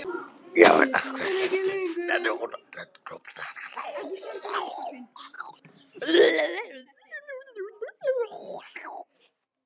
Já en í hverju ertu?